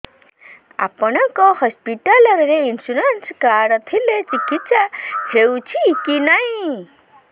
ଆପଣଙ୍କ ହସ୍ପିଟାଲ ରେ insurance card ଥିଲେ ଚିକିତ୍ସା ହେଉଛି କି ନାଇଁ